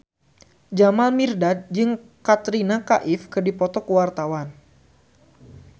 Jamal Mirdad jeung Katrina Kaif keur dipoto ku wartawan